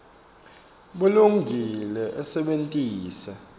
bulungile usebentise